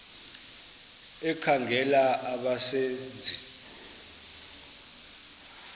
ekhangela abasebe nzi